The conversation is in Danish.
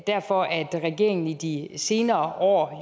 derfor at regeringen i de senere år